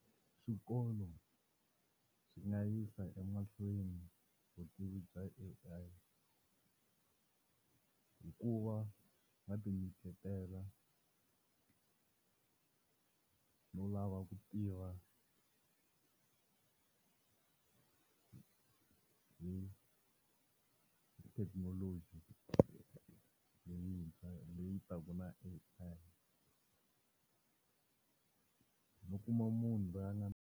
Swikolo swi nga yisa emahlweni vutivi bya A_I, hikuva va ti nyiketela no lava ku tiva hi thekinoloji leyintshwa, leyi taka na A_I, no kuma munhu la nga.